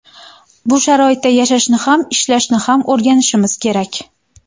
Bu sharoitda yashashni ham, ishlashni ham o‘rganishimiz kerak.